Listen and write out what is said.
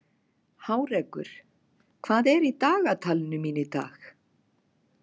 Hárekur, hvað er í dagatalinu mínu í dag?